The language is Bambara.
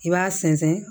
I b'a sɛnsɛn